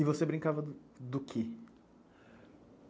E você brincava do quê?